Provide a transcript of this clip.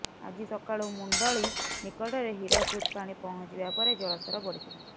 ଆଜି ସକାଳୁ ମୁଣ୍ଡଳୀ ନିକଟରେ ହୀରାକୁଦ ପାଣି ପହଞ୍ଚିବା ପରେ ଜଳ ସ୍ତର ବଢିଥିଲା